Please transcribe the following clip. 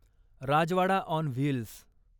Rajwada on wheels